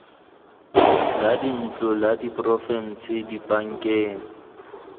la dintlo la porofense dibankeng